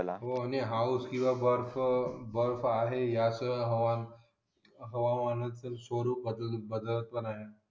हो आणि बर्फ आहे हवामानाच स्वरूप बदल कारव लागेल आपल्याला